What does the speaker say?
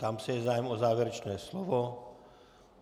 Ptám se - je zájem o závěrečné slovo?